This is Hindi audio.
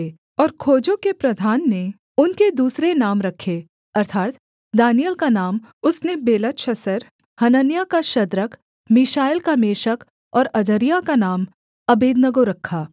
और खोजों के प्रधान ने उनके दूसरे नाम रखें अर्थात् दानिय्येल का नाम उसने बेलतशस्सर हनन्याह का शद्रक मीशाएल का मेशक और अजर्याह का नाम अबेदनगो रखा